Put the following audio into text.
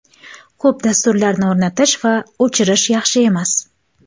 Ko‘p dasturlarni o‘rnatish va o‘chirish yaxshi emas.